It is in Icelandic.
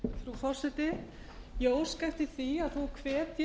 forseti ég óska eftir því að forseti hvetji